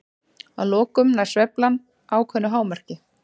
Að lokum nær sveiflan ákveðnu hámarki.